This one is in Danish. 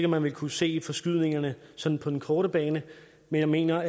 man vil kunne se forskydningerne sådan på den korte bane men jeg mener